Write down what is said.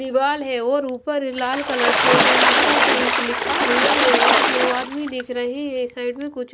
दीवाल है और ऊपर लाल कलर से इंफोटेंक लिखा हुआ हैऔर दिवार भी दिख रही हैं साइड में कुछ--